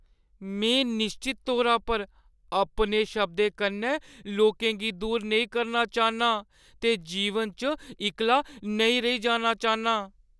में निश्चत तौरा पर अपने शब्दें कन्नै लोकें गी दूर नेईं करना चाह्न्नां ते जीवन च इक्कला नेईं रेही जाना चाह्न्नां।